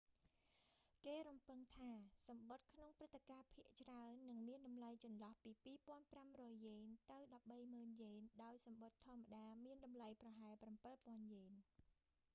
គេរំពឹងថាសំបុត្រក្នុងព្រឹត្តិការណ៍ភាគច្រើន នឹងមានតម្លៃចន្លោះពី 2,500 យ៉េនទៅ 130,000 យ៉េន ដោយសំបុត្រធម្មតា មានតម្លៃប្រហែល 7,000 យ៉េន